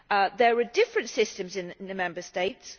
There are different systems in the Member States.